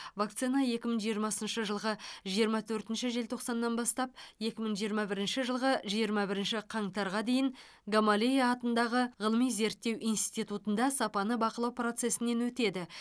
вакцина екі мың жиырмасыншы жылғы жиырма төртінші желтоқсаннан бастап екі мың жиырма бірінші жылғы жиырма бірінші қаңтарға дейін гамалея атындағы ғылыми зерттеу институтында сапаны бақылау процесінен өтеді